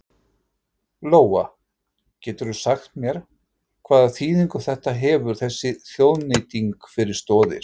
Lóa: Geturðu sagt mér hvaða þýðingu þetta hefur þessi þjóðnýting fyrir Stoðir?